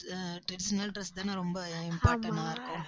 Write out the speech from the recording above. அஹ் traditional dress தானே ரொம்ப important ஆ இருக்கு.